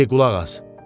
Ti qulaq as.